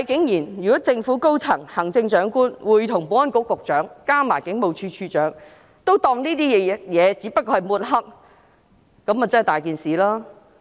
如果政府高層，包括行政長官、保安局局長及警務處處長均認為這只不過是抹黑，那便真的不妥。